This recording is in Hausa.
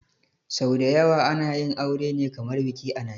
Sau dayawa ana yin aure ne kamar biki a najeria